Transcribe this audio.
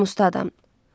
Namuslu adam.